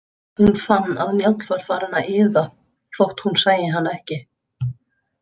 Hún fann að Njáll var farinn að iða þótt hún sæi hann ekki.